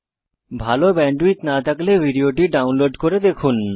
ভাল ব্যান্ডউইডথ না থাকলে ভিডিওটি ডাউনলোড করে দেখুন